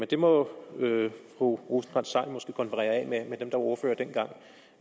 det må fru rosenkrantz theil måske konferere af med dem ordførere dengang